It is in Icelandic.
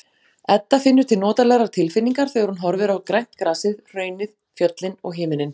Edda finnur til notalegrar tilfinningar þegar hún horfir á grænt grasið, hraunið, fjöllin og himininn.